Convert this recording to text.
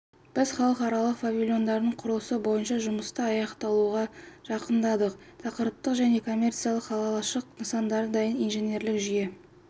біз халықаралық павильондардың құрылысы бойынша жұмысты аяқталуға жақындадық тақырыптық және коммерциялық қалашық нысандары дайын инженерлік жүйе